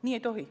Nii ei tohi.